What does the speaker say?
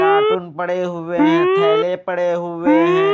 Cartoon पड़े हुए हैं थैले पड़े हुए हैं।